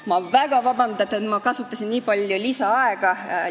Ma palun vabandust, et ma kasutasin nii palju lisaaega!